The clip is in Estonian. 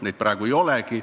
Neid praegu ei olegi.